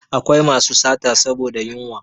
Akwai masu sata saboda yunwa